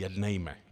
Jednejme.